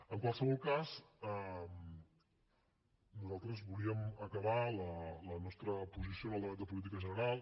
en qualsevol cas nosaltres volíem acabar la nostra posició en el debat de política general